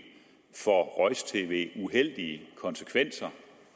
uheldige konsekvenser